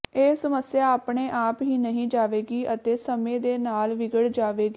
ਇਹ ਸਮੱਸਿਆ ਆਪਣੇ ਆਪ ਹੀ ਨਹੀਂ ਜਾਵੇਗੀ ਅਤੇ ਸਮੇਂ ਦੇ ਨਾਲ ਵਿਗੜ ਜਾਵੇਗੀ